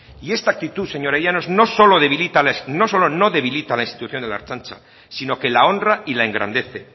y esta actitud señor llanos no solo no debilita a la institución de la ertzaintza sino que la honra y la engrandece